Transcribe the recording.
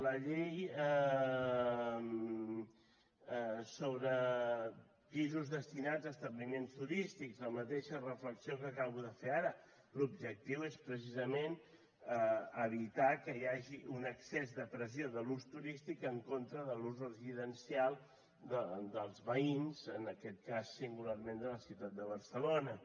la llei sobre pisos destinats a establiments turístics la mateixa reflexió que acabo de fer ara l’objectiu és precisament evitar que hi hagi un excés de pressió de l’ús turístic en contra de l’ús residencial dels veïns en aquest cas singularment de la ciutat de barcelona